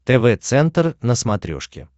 тв центр на смотрешке